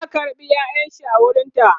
ya karɓe ƴaƴanshi a wurinta